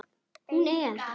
Hún er.